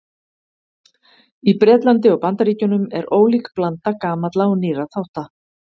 Í Bretlandi og Bandaríkjunum er ólík blanda gamalla og nýrra þátta.